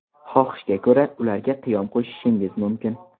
Xohishga ko‘ra, ularga qiyom qo‘shishingiz mumkin.